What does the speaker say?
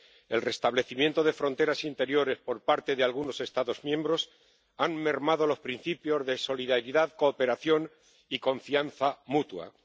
El restablecimiento de fronteras interiores por parte de algunos Estados miembros ha mermado los principios de solidaridad, cooperación y confianza mutua.